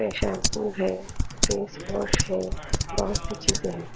Shampoo हें face wash हे बोहोत सी चीजे हैं।